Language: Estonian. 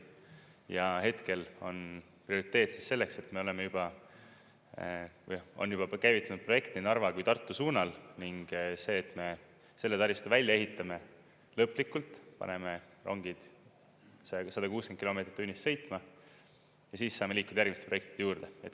Ja hetkel on prioriteet siis selleks, et me oleme juba või on juba käivitunud projekt nii Narva kui Tartu suunal, ning see, et me selle taristu välja ehitame lõplikult, paneme rongid 160 kilomeetrit tunnis sõitma ja siis saame liikuda järgmiste projektide juurde.